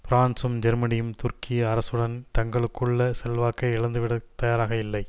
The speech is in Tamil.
பிரான்சும் ஜெர்மனியும் துருக்கி அரசுடன் தங்களுக்குள்ள செல்வாக்கை இழந்துவிடத் தயாராக இல்லை